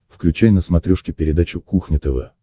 включай на смотрешке передачу кухня тв